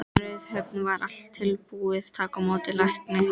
Á Raufarhöfn var allt tilbúið að taka á móti lækni.